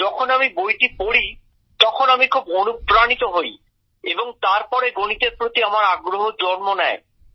যখন আমি বইটি পড়ি তখন আমি খুব অনুপ্রাণিত হই এবং তারপরে গণিতের প্রতি আমার আগ্রহ জন্ম নেয়